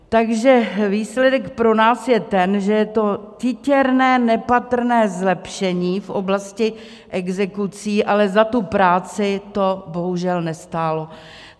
Takže výsledek pro nás je ten, že je to titěrné, nepatrné zlepšení v oblasti exekucí, ale za tu práci to bohužel nestálo.